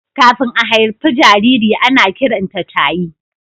Kafin a haifi jariri, ana kiranta tayi.